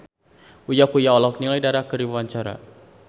Uya Kuya olohok ningali Dara keur diwawancara